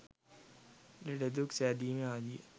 ලෙඩදුක් සෑදීම ආදිය